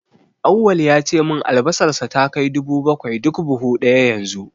Auwal ya ce min albasarsa ta kai dubu bakwai duk buhu ɗaya yanzu.